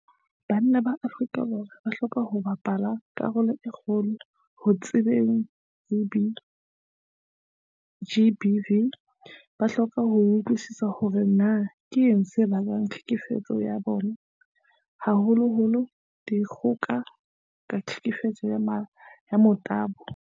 Banna ba Afrika Borwa ba hloka ho bapala karolo e kgolo ho thibeleng GBV. Ba hloka ho utlwisisa hore na keng se bakang tlhekefetso ya bong, haholoholo dikgoka ka tlhekefetso ya motabo.